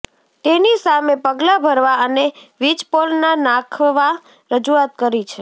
તેની સામે પગલા ભરવા અને વીજપોલ ના નાખવા રજુઆત કરી છે